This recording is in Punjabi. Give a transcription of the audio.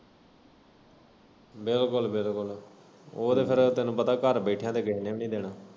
ਬਿਲਕੁੱਲ ਬਿਲਕੁੱਲ ਓ ਤੇ ਫੇਰ ਤੈਨੂੰ ਪਤਾ ਘਰ ਬੈਠਿਆ ਤੇ ਕਿਸੇ ਨੇ ਵੀ ਨਈ ਦੇਣਾ।